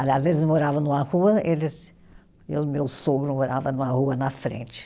Aliás, eles moravam numa rua, eles. E o meu sogro morava numa rua na frente.